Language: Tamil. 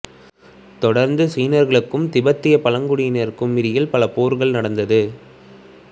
தொடர்ந்து சீனர்களுக்கும் திபெத்திய பழங்குடியினருக்கு இடையில் பல போர்கள் நடந்தது